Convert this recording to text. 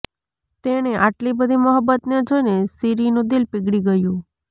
તેણે આટલી બધી મોહબ્બતને જોઈને શીરીનું દિલ પીગળી ગયું